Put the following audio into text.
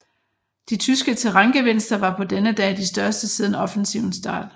De tyske terrængevinster var på denne dag de største siden offensivens start